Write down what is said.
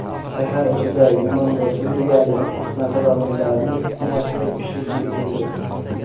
Shahar ichida yunon va suriyalik nasroniylarning fitnasi pishib yetildi .